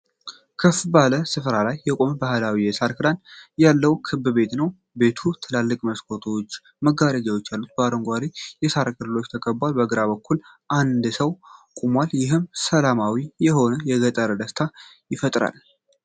ከፍ ባለ ስፍራ ላይ የቆመ ባህላዊ የሳር ክዳን ያለው ክብ ቤት ነው። ቤቱ ትላልቅ መስኮቶችና መጋረጃዎች አሉት፣ በአረንጓዴ የሳር ተክሎች ተከቧል። በግራ በኩል አንድ ሰው ቆሟል፤ ይህም ሰላማዊ የሆነ የገጠር ደስታ ይፈጥራል።